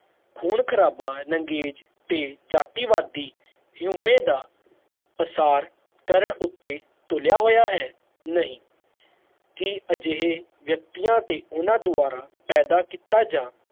ਖੂਨ ਖਰਾਬ ਨੰਗੇਜ ਤੇ ਜਾਤੀ ਵਾਦੀ ਹਉਮੈ ਦਾ ਪ੍ਰਸਾਰ ਕਰਨ ਉਤੇ ਤੁਲਿਆ ਹੋਇਆ ਹੈ ਨਹੀਂ ਕਿ ਅਜਿਹੇ ਵਿਅਕਤੀਆਂ ਤੇ ਊਨਾ ਦੋਵਾਰਾ ਪੈਦਾ ਕੀਤਾ ਜਾ